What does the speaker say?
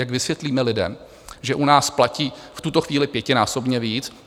Jak vysvětlíme lidem, že u nás platí v tuto chvíli pětinásobně víc?